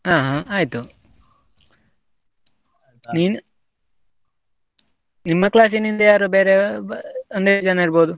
ಅಹ್ ಆಯ್ತು, ನಿಮ್ಮ class ನಿಂದ ಯಾರು ಬೇರೆ, ಅಂದ್ರೆ ಎಷ್ಟ್ ಜನ ಇರ್ಬೋದು?